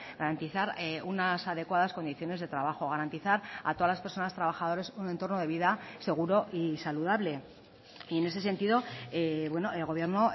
garantizar unas adecuadas condiciones de trabajo garantizar a todas las personas trabajadores un entorno de vida seguro y saludable y en ese sentido el gobierno